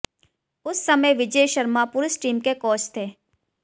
उस समय विजय शर्मा पुरुष टीम के कोच थे